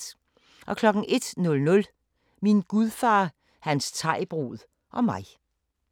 01:00: Min gudfar, hans thaibrud og mig